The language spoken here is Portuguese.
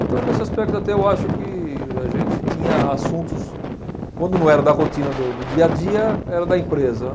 Então, nesse aspecto, até eu acho que a gente tinha assuntos... Quando não era da rotina do do dia a dia, era da empresa.